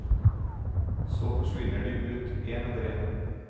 Så forsvinner de ut en etter en.